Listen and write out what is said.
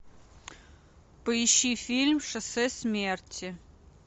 поищи фильм шоссе смерти